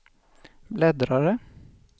bläddrare